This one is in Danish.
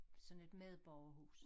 Sådan et medborgerhus